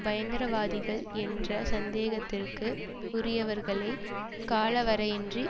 பயங்கரவாதிகள் என்ற சந்தேகத்திற்கு உரியவர்களைக் காலவரையின்றி